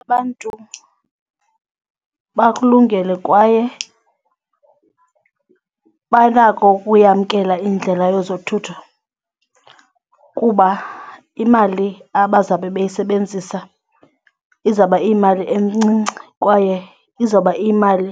Abantu bakulungele kwaye banako ukuyamkela indlela yezothutho kuba imali abazabe beyisebenzisa izawube iyimali encinci kwaye izawube iyimali